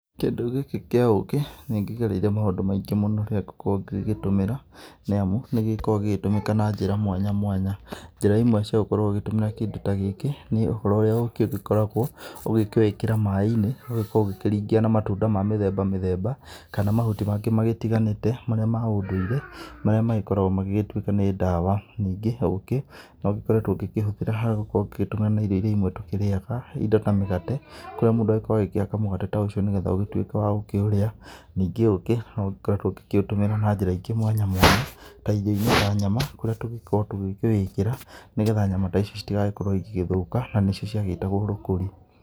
Kĩndũ gĩkĩ kĩa ũkĩ nĩ kĩgereire maũndũ maingĩ mũno rĩrĩa ngũkorwo ngĩgĩgĩtũmĩra, nĩ amũ nĩ gĩkoragwo gĩgĩtũmĩka na njĩra mwanya mwanya. Njira imwe cia gũkorwo ũgĩgĩtũmĩra kĩndũ ta gĩkĩ nĩ ũhoro ũrĩa ũkĩ ũgĩkoragwo ũgĩkĩwĩkĩra maaĩ-inĩ ũgagĩkorwo ũgĩkĩringĩa na matũnda ma mĩthemba mĩthemba, kana mahũti mangĩ magĩtiganĩte marĩa ma ũndũire, marĩa magĩkoragwo magĩgĩtuĩka nĩ ndawa. Ningĩ ũkĩ no ũgĩkoretwo ũgĩkĩhuthĩra kana ũgĩtũmira na irio irĩa imwe tũgĩkĩrĩaga, indo ta mĩgate kũrĩa mũndũ agĩkoragwo agĩkĩhaka mũgate ta ũcio, nĩgetha ũgĩtũĩke wa gũkĩũrĩa. Ningĩ ũkĩ no ũgĩkoretwo ũgĩkĩũtũmĩra na njĩra ingĩ mwanya mwanya ta irio-inĩ ta nyama kũrĩa tũgĩkoragwo tũgĩkĩwĩkĩra, nĩgetha nyama ta ici citigagĩkorwo ĩgigĩthuka na nĩcio cĩa gĩtagwo rũkũri.